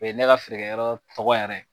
O ye ne ka feerekɛyɔrɔ tɔgɔ yɛrɛ ye.